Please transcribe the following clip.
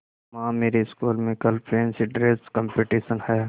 माँ मेरी स्कूल में कल फैंसी ड्रेस कॉम्पिटिशन है